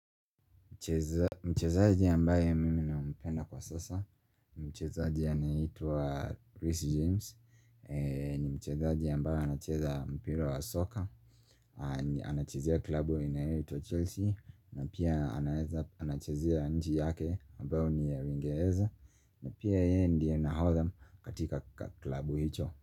Mchezaji ambaye mimi nampenda kwa sasa Mchezaji anayeitwa Reece James ni mchezaji ambaye anacheza mpira wa soka Anachezea klabu inayoitwa Chelsea na pia anachezea nchi yake ambayo ni ya Uingereza na pia yeye ndiye nahodha katika klabu hicho.